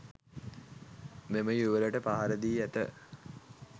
මෙම යුවළට පහරදී ඇත